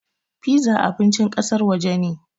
Piza abincin ƙasar waje ne.